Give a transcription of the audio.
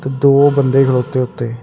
ਤੇ ਦੋ ਬੰਦੇ ਖਲੋਤੇ ਉੱਤੇ।